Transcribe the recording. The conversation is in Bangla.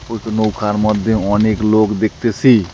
দুইটো নৌকার মধ্যে অনেক লোক দেখতেসি।